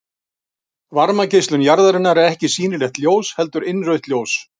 Varmageislun jarðarinnar er ekki sýnilegt ljós heldur innrautt ljós.